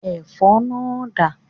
Ẹ̀fọ́ náà dà?